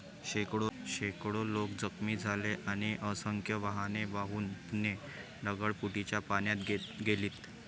शेकडो लोक जखमी झालेत आणि असंख्य वाहने वाहून पुणे ढगफुटीच्या पाण्यात गेलीत.